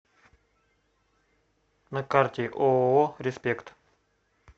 на карте ооо респект